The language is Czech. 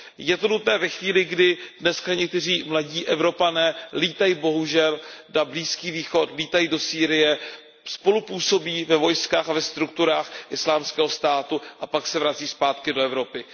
Je to nutné ve chvíli, kdy dneska někteří mladí Evropané létají bohužel na Blízký východ, létají do Sýrie, spolupůsobí ve vojskách a ve strukturách Islámského státu a pak se vracejí zpátky do Evropy.